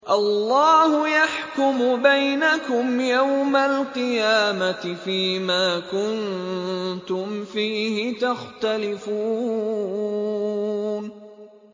اللَّهُ يَحْكُمُ بَيْنَكُمْ يَوْمَ الْقِيَامَةِ فِيمَا كُنتُمْ فِيهِ تَخْتَلِفُونَ